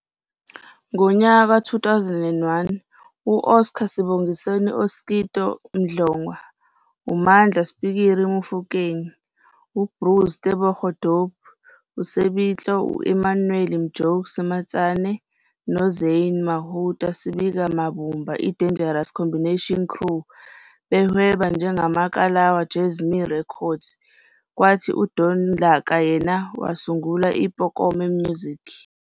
Ngonyaka ka-2001 u-Oscar Sibonginkosi "Oskido" Mdlongwa, uMandla "Spikiri" Mofokeng, uBruce Tebogo "Dope" Sebitlo, u-Emmanuel "Mjokes" Matsane noZynne "Mahoota" Sibika babumba iDangerous Combination Crew behweba njengeKalawa Jazzmee Records kwathi uDon Laka yena wasungula iBokone Music.